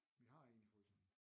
Vi har en i fryseren